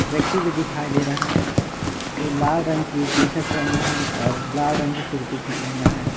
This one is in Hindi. व्यक्ति भी दिखाई दे रहा है जो लाल रंग की टी_शर्ट पहना है और लाल रंग की टोपी पहना है।